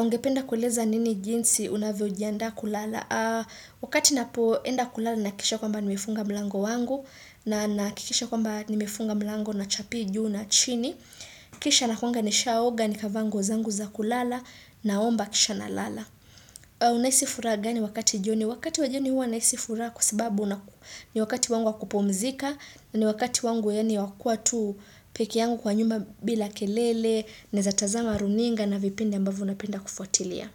Ungependa kueleza nini jinsi unavyojianda kulala. Wakati napoenda kulala na hakikisha kwamba nimifunga mlango wangu na nahakikisha kwamba nimifunga mlango na chapii juu na chini kisha nakuwaga nisha oga nikavaa nguo zangu za kulala naomba kisha nalala unahisi furaha gani wakati jioni wakati wa jioni huwa nahisi furaha kwa sababu ni wakati wangu wa kupumzika na ni wakati wangu yani wa kuwa tu pekeyangu kwa nyuma bila kelele nawezatazama runinga na vipindi ambavyo napenda kufuatilia.